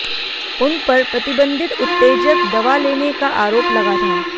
उन पर प्रतिबंधित उत्तेजक दवा लेने का आरोप लगा था